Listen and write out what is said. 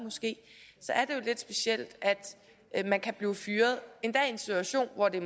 er lidt specielt at man kan blive fyret endda i en situation hvor det